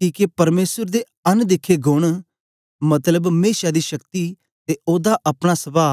किके परमेसर दे अन दिखे गोण मतलब मेशा दी शक्ति ते ओदा अपना सभाह